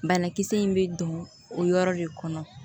Banakisɛ in bɛ don o yɔrɔ de kɔnɔ